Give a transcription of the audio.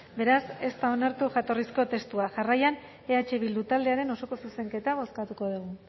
beraz ez da onartu jatorrizko testua jarraian eh bildu taldearen osoko zuzenketa bozkatuko dugu